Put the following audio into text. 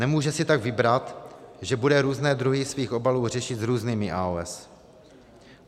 Nemůže si tak vybrat, že bude různé druhy svých obalů řešit s různými AOS.